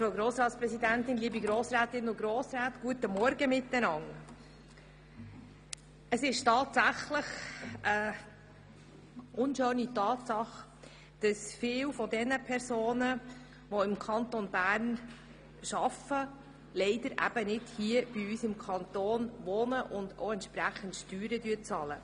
Es ist tatsächlich eine unschöne Tatsache, dass viele der Personen, die im Kanton Bern arbeiten, nicht im Kanton wohnen und entsprechend Steuern zahlen.